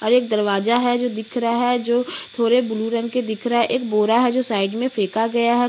और एक दरवाजा है जो दिख रहा जो थोड़े ब्लू रंग के दिख रहे है एक बोरा है जो साइड मे फेका गया है।